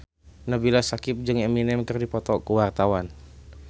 Nabila Syakieb jeung Eminem keur dipoto ku wartawan